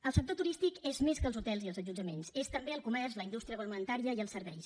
el sector turístic és més que els hotels i els allotjaments és també el comerç la indústria agroalimentària i els serveis